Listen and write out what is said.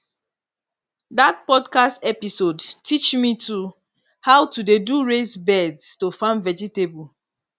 that podcast episode teach me to how to dey do raised beds to farm vegetable